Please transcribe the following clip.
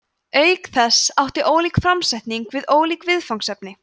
auk þess átti ólík framsetning við ólík viðfangsefni